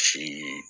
Si